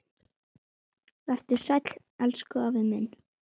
Vertu sæll, elsku afi minn.